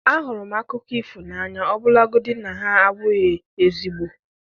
Ahụrụ m akụkọ ifo n'anya ọbụlagodi na ha abụghị ezigbo